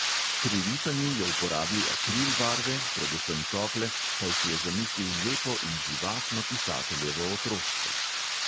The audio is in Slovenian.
Pri risanju je uporabil akril barve, predvsem tople, saj si je zamislil lepo in živahno pisateljevo otroštvo.